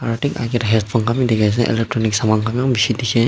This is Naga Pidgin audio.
aro thik akae tae headphone khan bi dikhiase electronic saman khan bi eman bishi dikhae.